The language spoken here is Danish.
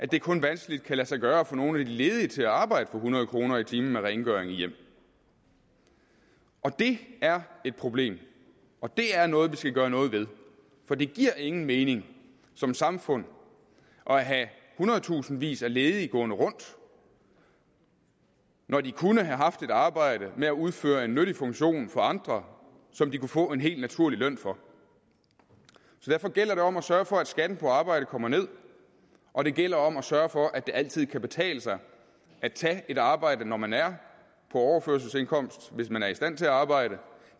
det kun vanskeligt lade sig gøre at få nogen af de ledige til at arbejde for hundrede kroner i timen med rengøring i hjem det er et problem og det er noget vi skal gøre noget ved for det giver ingen mening som samfund at have hundredtusindvis af ledige gående rundt når de kunne have haft et arbejde med at udføre en nyttig funktion for andre som de kunne få en helt naturlig løn for derfor gælder det om at sørge for at skatten på arbejde kommer ned og det gælder om at sørge for at det altid kan betale sig at tage et arbejde når man er på overførselsindkomst hvis man er i stand til at arbejde